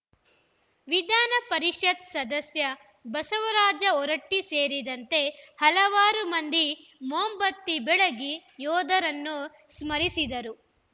ವಿಧಾನಪರಿಷತ್‌ ಸದಸ್ಯ ಬಸವರಾಜ ಹೊರಟ್ಟಿಸೇರಿದಂತೆ ಹಲವಾರು ಮಂದಿ ಮೋಂಬತ್ತಿ ಬೆಳಗಿ ಯೋಧರನ್ನು ಸ್ಮರಿಸಿದರು